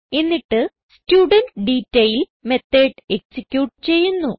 എന്നിട്ട് student detail method execute ചെയ്യുന്നു